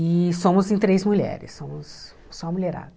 E somos em três mulheres, somos só mulherada.